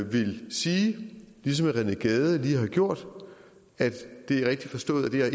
vil sige ligesom herre rené gade lige har gjort at det er rigtigt forstået at det her